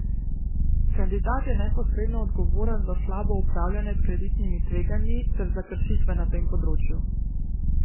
Kandidat je neposredno odgovoren za slabo upravljanje s kreditnimi tveganji ter za kršitve na tem področju ...